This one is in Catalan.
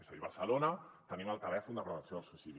és a dir a barcelona tenim el telèfon de prevenció del suïcidi